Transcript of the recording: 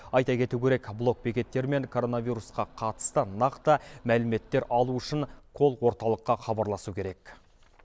айта кету керек блокбекеттер мен коронавирусқа қатысты нақты мәліметтер алу үшін колл орталыққа хабарласу керек